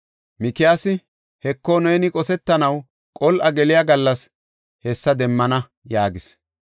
Mikiyaasi, “Heko, neeni qosetanaw qol7a geliya gallas hessa demmana” yaagis.